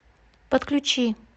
подключи